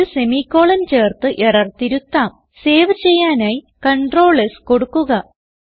ഒരു semi colon ചേർത്ത് error തിരുത്താംസേവ് ചെയ്യാനായി Ctrl S കൊടുക്കുക